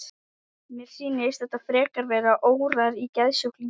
Mér sýnist þetta frekar vera órar í geðsjúklingi.